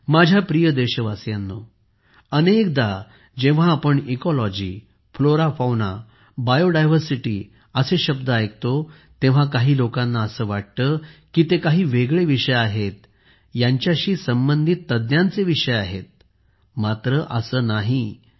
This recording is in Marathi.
माझ्या प्रिय देशवासियांनो अनेकदा जेव्हा आपण इकोलॉजी फ्लोराफौनाबायोडायव्हर्सिटी असे शब्द ऐकतो तेव्हा काही लोकांना असे वाटते की ते काही वेगळे विषय आहेत यांच्याशी संबंधित तज्ञांचे विषय आहेत मात्र असे नाही आहे